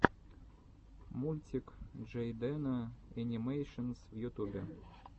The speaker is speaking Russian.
мультик джейдена энимэйшенс в ютубе